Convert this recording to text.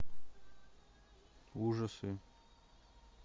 ужасы